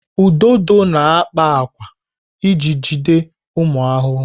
Ududo na-akpa ákwà iji jide ụmụ ahụhụ.